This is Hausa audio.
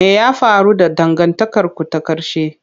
Me ya faru da dangantakarku ta ƙarshe?